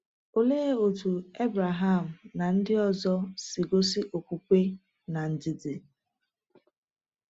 Olee otú Abraham na ndị ọzọ si gosi okwukwe na ndidi?